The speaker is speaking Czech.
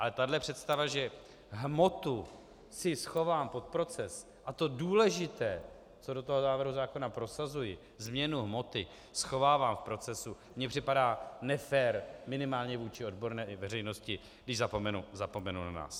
Ale tahle představa, že hmotu si schovám pod proces a to důležité, co do toho návrhu zákona prosazuji, změnu hmoty, schovávám v procesu, mně připadá nefér minimálně vůči odborné veřejnosti, když zapomenu na nás.